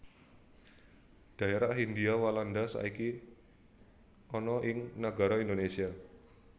Dhaerah Hindhia Walanda saiki ana ing nagara Indonésia